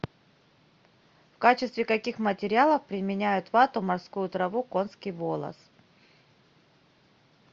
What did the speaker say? в качестве каких материалов применяют вату морскую траву конский волос